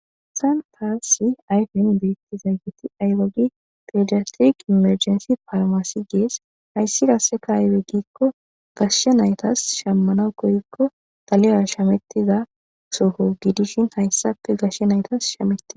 san taasi ayfen beetti zaygeti aylogi pidiastiriq imerjensi farmasi gees hayssi rase ka ayeweggikko gashshe naytas shammana koykko tale7a shamettiza soho gidishin hayssape gashshe naytas shametia